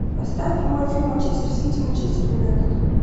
поставь прямой эфир манчестер сити манчестер юнайтед